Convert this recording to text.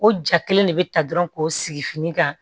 O ja kelen de bɛ ta dɔrɔn k'o sigi fini kan